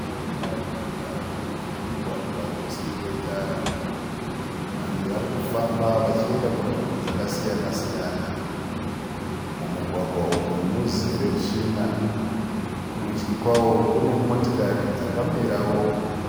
Nharaunda inogara vanhu ine mugwagwa usiri wetara. Vanhu vari kufamba vachienda kunzvimbo dzakasiyana siyana. Mumugwagwa umu muzere tsvina. Kurudyi kwavo kune motikari dzakamirawo